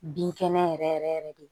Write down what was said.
Binkɛnɛ yɛrɛ yɛrɛ yɛrɛ de